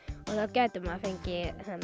gæti maður fengið